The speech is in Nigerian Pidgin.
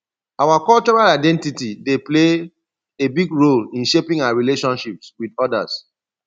our cultural identity dey play a big role in shaping our relationships with odas